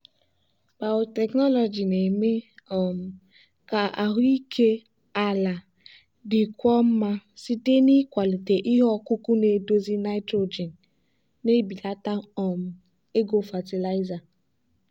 biotechnology na-eme um ka ahụike ala dịkwuo mma site n'ịkwalite ihe ọkụkụ na-edozi nitrogen na-ebelata um ego fatịlaịza.